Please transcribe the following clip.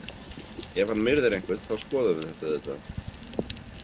Ef hann myrðir einhvern, þá skoðum við þetta auðvitað.